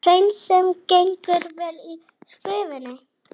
Hreinsun gengur vel í Skeifunni